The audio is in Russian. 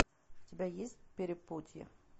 у тебя есть перепутье